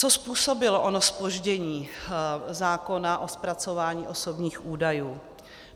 Co způsobilo ono zpoždění zákona o zpracování osobních údajů?